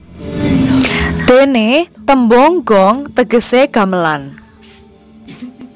Dene tembung gong tegese gamelan